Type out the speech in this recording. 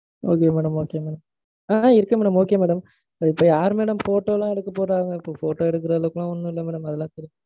Okay madam, okay madam. ஆஹ் இருக்கேன் madam, okay madam. யாரு madam photo லாம் எடுக்கப் போறாங்க? இப்போ photo எடுக்குற அளவுக்கு எல்லாம் ஒன்னும் இல்ல madam. அதுலாம்